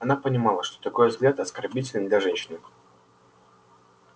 она понимала что такой взгляд оскорбителен для женщины